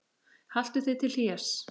Haltu þig til hlés.